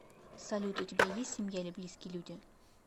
салют у тебя есть семья или близкие люди